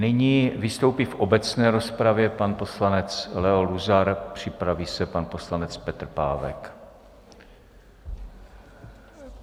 Nyní vystoupí v obecné rozpravě pan poslanec Leo Luzar, připraví se pan poslanec Petr Pávek.